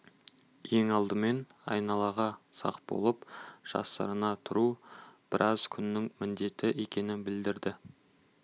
ең алдымен айналаға сақ болып жасырына тұру біраз күннің міндеті екенін білдірді